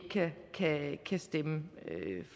kan stemme